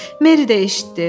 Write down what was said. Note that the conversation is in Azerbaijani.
Meri də eşitdi.